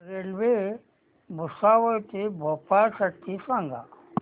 railway Bhusawal ते भोपाळ साठी सांगा